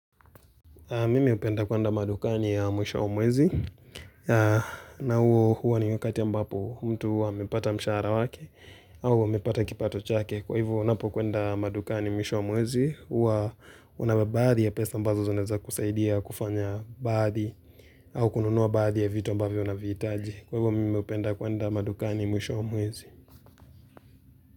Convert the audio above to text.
Mimi hupenda kuenda madukani ya mwisho wa mwezi. Na huo huwa ni wakati ambapo mtu huwa amepata mshahara wake au amepata kipato chake. Kwa hivyo ninapo kwenda madukani mwisho wa mwezi, huwa una baadhi ya pesa ambazo zinaweza kukusaidia kufanya baadhi au kununua baadhi ya vitu ambaviyo unavihitaji. Kwa hivu mime upenda kuenda madukani ya mwisho wa mwezi.